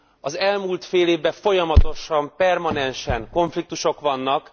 Az elmúlt fél évben folyamatosan, permanensen konfliktusok vannak.